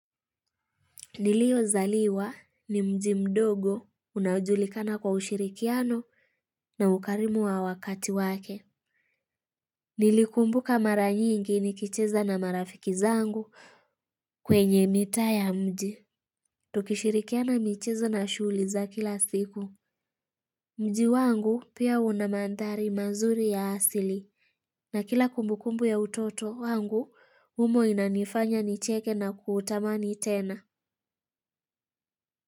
Nilio zaliwa ni mji mdogo unajulikana kwa ushirikiano na ukarimu wa wakati wake. Nilikumbuka mara nyingi nikicheza na marafiki zangu kwenye mita ya mji. Tukishirikiana mchezo na shugli za kila siku. Mji wangu pia unamandari mazuri ya asili. Na kila kumbu kumbu ya utoto wangu umo inanifanya nicheke na kutamani tena.